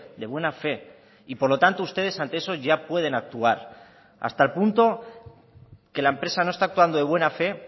de buena fe y por lo tanto ustedes ante eso ya pueden actuar hasta el punto que la empresa no está actuando de buena fe